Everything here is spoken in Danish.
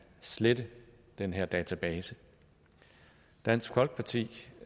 slette den her database dansk folkeparti